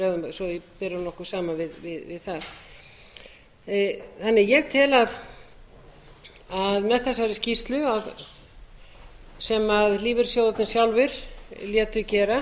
svo við berum okkur saman við það ég tel að með þessari skýrsla sem lífeyrissjóðirnir sjálfir létu gera